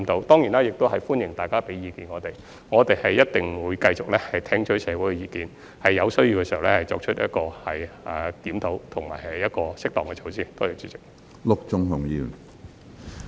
當然，也歡迎大家給予我們意見，我們一定會繼續聽取社會的意見，在有需要時作出檢討及適當的措施。